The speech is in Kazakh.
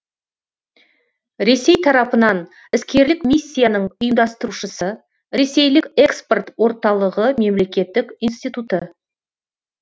ресей тарапынан іскерлік миссияның ұйымдастырушысы ресейлік экспорт орталығы мемлекеттік институты